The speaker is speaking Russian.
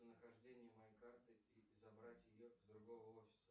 нахождение моей карты и забрать ее с другого офиса